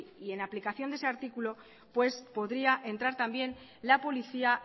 y en aplicación de ese artículo pues podría entrar también la policía